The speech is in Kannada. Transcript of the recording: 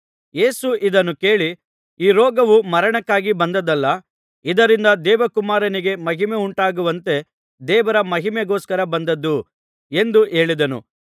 ಯೇಸು ಇದನ್ನು ಕೇಳಿ ಈ ರೋಗವು ಮರಣಕ್ಕಾಗಿ ಬಂದದ್ದಲ್ಲ ಇದರಿಂದ ದೇವಕುಮಾರನಿಗೆ ಮಹಿಮೆ ಉಂಟಾಗುವಂತೆ ದೇವರ ಮಹಿಮೆಗೋಸ್ಕರ ಬಂದದ್ದು ಎಂದು ಹೇಳಿದನು